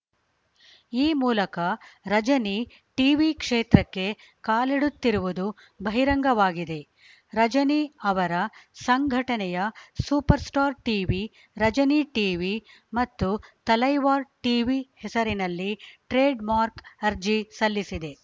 ಈ ಮೂಲಕ ರಜನಿ ಟೀವಿ ಕ್ಷೇತ್ರಕ್ಕೆ ಕಾಲಿಡುತ್ತಿರುವುದು ಬಹಿರಂಗವಾಗಿದೆ ರಜನಿ ಅವರ ಸಂಘಟನೆಯ ಸೂಪರ್‌ಸ್ಟಾರ್‌ ಟೀವಿ ರಜನಿ ಟೀವಿ ಮತ್ತು ತಲೈವಾರ್‌ ಟೀವಿ ಹೆಸರಿನಲ್ಲಿ ಟ್ರೇಡ್‌ಮಾರ್ಕ್ಗೆ ಅರ್ಜಿ ಸಲ್ಲಿಸಿದೆ